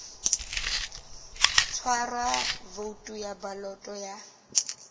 tshwarwa voutu ya baloto ya